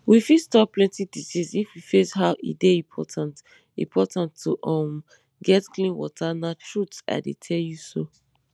we fit stop plenty disease if we face how e dey important important to um get clean water na truth i dey tell you so